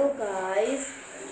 hello guys